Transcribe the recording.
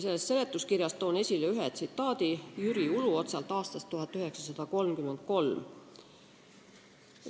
Seletuskirjast aga toon esile ühe tsitaadi Jüri Uluotsalt aastast 1933.